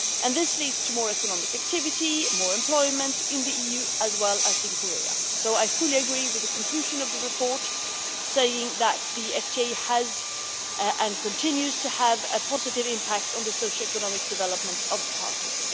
This leads to more economic activity, more employment in the EU as well as in Korea. I fully agree with the conclusion of the report, saying that the FTA has and continues to have a positive impact on the socio economic development of the parties.